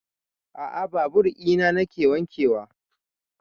A'a babur ina nake wanke wa